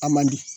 A man di